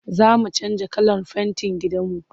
Za mu canja kalar fentin gidanmu.